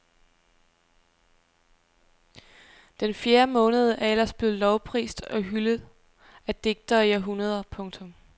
Den fjerde måned er ellers blevet lovprist og hyldet af digtere i århundreder. punktum